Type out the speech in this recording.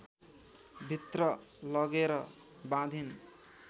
भित्र लगेर बाँधिन्